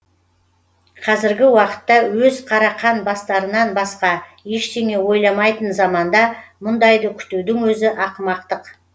қазіргі уақытта өз қарақан бастарынан басқа ештеңе ойламайтын заманда мұндайды күтудің өзі ақымақтық